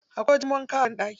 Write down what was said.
Akwai wajen wanka a banɗaki.